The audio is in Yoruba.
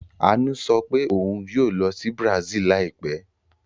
Àánú sọ pé òun yóò lọ sí Brazil láìpẹ́.